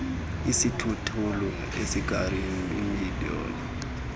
isithuthuthu ikari iminibhasi